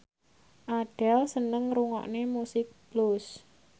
Adele seneng ngrungokne musik blues